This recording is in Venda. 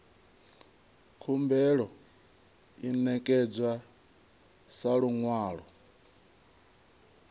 khumbelo i ṋekedzwa sa luṅwalo